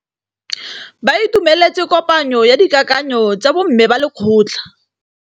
Ba itumeletse kôpanyo ya dikakanyô tsa bo mme ba lekgotla.